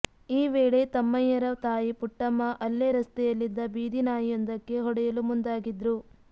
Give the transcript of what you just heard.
ಈ ವೇಳೆ ತಮ್ಮಯ್ಯರ ತಾಯಿ ಪುಟ್ಟಮ್ಮ ಅಲ್ಲೇ ರಸ್ತೆಯಲ್ಲಿದ್ದ ಬೀದಿ ನಾಯಿಯೊಂದಕ್ಕೆ ಹೊಡೆಯಲು ಮುಂದಾಗಿದ್ರು